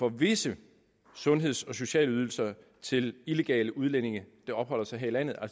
af visse sundheds og sociale ydelser til illegale udlændinge der opholder sig her i landet